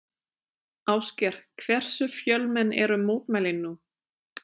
Ásgeir, hversu fjölmenn eru mótmælin nú?